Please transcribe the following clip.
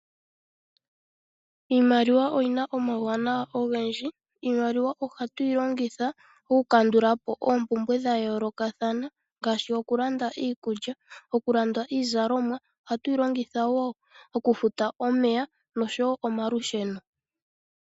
Iimaliwa oyi na omauwanawa ogendji. Iimaliwa ohatu yi longitha okukandula po oompumbwe dha yoolokathana ngaashi okulanda iikulya, okulanda iizalomwa, ohatu yi longitha wo okufuta omeya noshowo omalusheno.